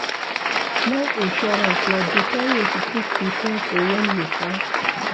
Life insurance na better wey to take prepare for when you kpai